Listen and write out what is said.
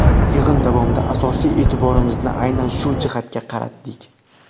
Yig‘in davomida asosiy e’tiborimizni aynan shu jihatga qaratdik.